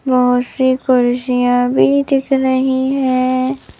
बहुत सी कुर्सिया भी दिख रही है।